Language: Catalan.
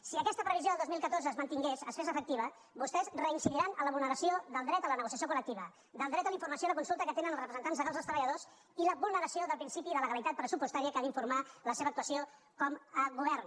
si aquesta previsió del dos mil catorze es mantingués es fes efectiva vostè reincidiran a la vulneració del dret a la negociació colsulta que tenen els representants dels treballadors i la vulneració del principi de legalitat pressupostària que ha d’informar de la seva actuació com a govern